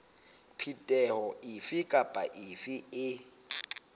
phetoho efe kapa efe e